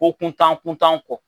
Ko kuntan kuntan kɔ.